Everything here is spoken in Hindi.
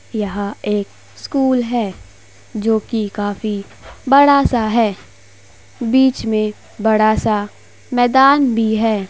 यह एक स्कूल है जोकि काफी बड़ा सा है। बीच में बड़ा सा मैदान भी है।